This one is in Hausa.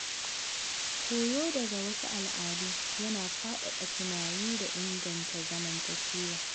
Koyo daga wasu al’adu yana faɗaɗa tunani da inganta zamantakewa.